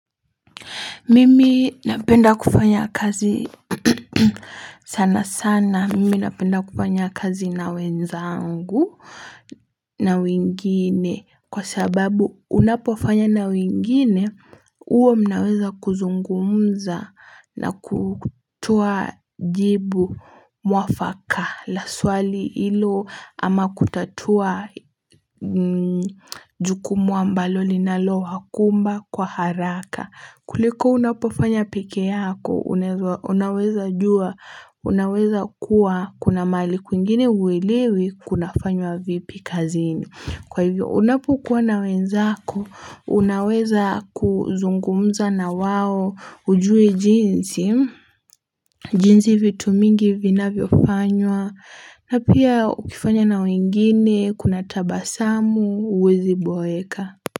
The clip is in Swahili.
Mimi napenda kufanya kazi sana sana. Mimi napenda kufanya kazi na wenzangu na wingine kwa sababu unapofanya na wingine hua mnaweza kuzungumza na kutoa jibu mwafaka. La swali hilo ama kutatua jukumu ambalo linaloakumba kwa haraka kuliko unapofanya pekee yako unaweza jua unaweza kuwa kuna mali kwingine uelewi kuna fanywa vipi kazini. Kwa hivyo unapokuwa na wenzako unaweza kuzungumza na wao hujui jinsi. Jinsi vitu mingi vina viofanywa na pia ukifanya na wengine, kuna tabasamu, huwezi boeka.